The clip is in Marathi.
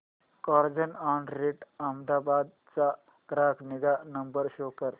कार्झऑनरेंट अहमदाबाद चा ग्राहक निगा नंबर शो कर